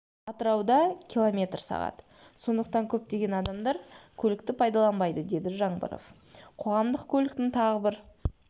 атырауда киллометр сағат сондықтан көптеген адамдар көлікті пайдаланбайды деді жаңбыров қоғамдық көліктің тағы бір